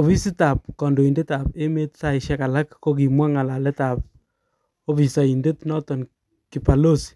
Ofisit tab kondoidet ab emet saishek alak kokimwa ngalalet ab ofisoidet noton kibalozi